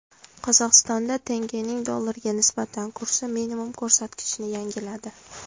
Qozog‘istonda tengening dollarga nisbatan kursi minimum ko‘rsatkichni yangiladi.